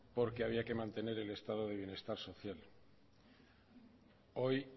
porque había que mantener el estado de bienestar social hoy